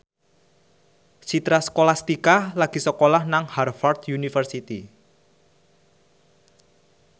Citra Scholastika lagi sekolah nang Harvard university